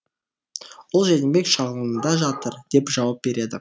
ол жәнібек шағылында жатыр деп жауап береді